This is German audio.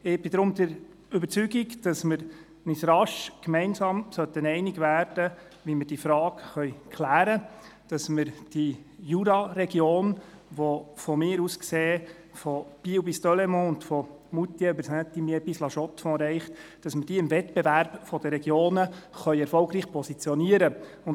Ich bin deshalb der Überzeugung, dass wir uns rasch gemeinsam einig werden sollten, wie wir diese Frage klären können, damit wir die Jura-Region, die aus meiner Sicht von Biel bis Delémont und von Moutier über Saint-Imier bis nach La-Chaux-de-Fonds reicht, im Wettbewerb der Regionen erfolgreich positionieren können.